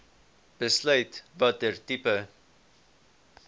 besluit watter tipe